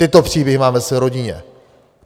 Tyto příběhy mám ve své rodině.